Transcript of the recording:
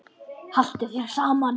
Haltu þér saman